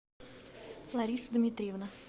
лариса дмитриевна